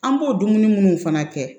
An b'o dumuni munnu fana kɛ